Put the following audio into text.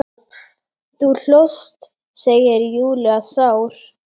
Þú hlóst, segir Júlía sár.